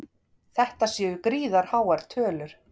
Þetta séu gríðarháar tölur